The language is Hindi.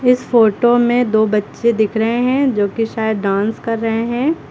इस फोटो में दो बच्चे दिख रहे हैं जो कि शायद डांस कर रहे हैं।